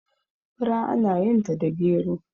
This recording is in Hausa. fura ana yinta da gero